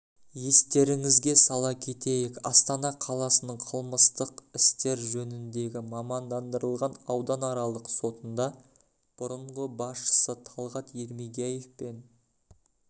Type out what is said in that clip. естеріңізге сала кетейік астана қаласының қылмыстық істер жөніндегі мамандандырылған ауданаралық сотында бұрынғы басшысы талғат ермегияев пен